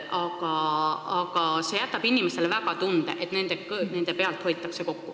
See uuendus jätab inimestele tunde, et nende pealt hoitakse kokku.